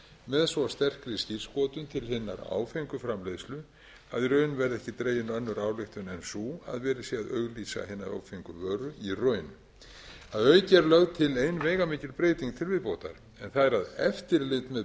með svo sterkri skírskotun til hinnar áfengu framleiðslu að í raun verði ekki dregin önnur ályktun en sú að verið sé að auglýsa hina áfengu vöru í raun að auki er lögð til ein veigamikil breyting til viðbótar en það er að eftirlit með